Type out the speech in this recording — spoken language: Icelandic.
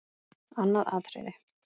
Annað atriði.